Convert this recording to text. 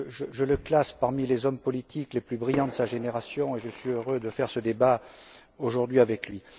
Je le classe parmi les hommes politiques les plus brillants de sa génération et je suis heureux de faire ce débat aujourd'hui avec lui.